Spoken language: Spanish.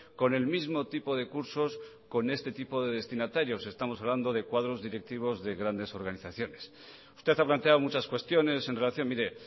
con el mismo tipo de cursos con este tipo de destinatarios estamos hablando de cuadros directivos de grandes organizaciones usted ha planteado muchas cuestiones en relación mire